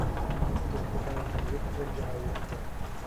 у тебя в каталоге есть ольга равицкая